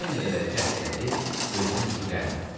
Hər nə qədər cəhd elədi, gözünə yuxu gəlmədi.